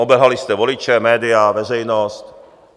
Obelhali jste voliče, média, veřejnost.